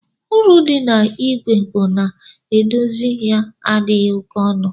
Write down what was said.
Uru di na igwe bu na edozi ya adighi oke ọnụ.